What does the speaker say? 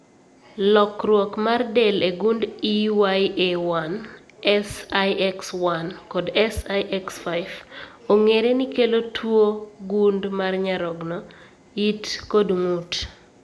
Lokruok mar del e gund EYA1, SIX1, kod SIX5, ong'ere ni kelo tuwo gund mar nyarogno, it kod ng'ut